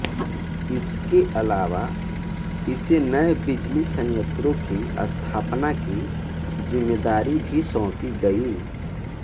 इसके अलावा इसे नए बिजली संयंत्रों की स्थापना की जिम्मेदारी भी सौंपी गई है